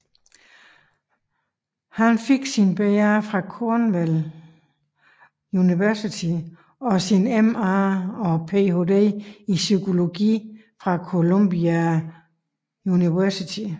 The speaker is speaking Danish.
Han modtog sin BA fra Cornell University og sin MA og PhD i psykologi fra Columbia University